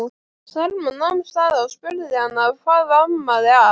Selma nam staðar og spurði hana hvað amaði að.